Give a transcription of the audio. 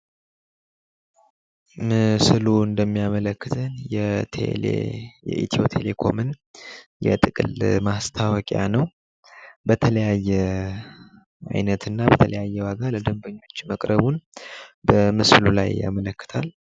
ምስሉ እንደሚያመለክተን የኢትዮ ቴሌኮምን የጥቅል ለማስታወቂያ ነው። በተለያየ አይነት እና በተለያየ ዋጋ ለደምበኞች መቅረቡን በምስሉ ላይ ያመለክታል።